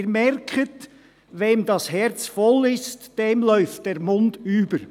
Sie merken: Wem das Herz voll ist, dem läuft der Mund über.